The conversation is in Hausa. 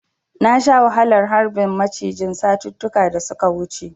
Na sha wahalar harbin macijin satuttuka da suka wuce.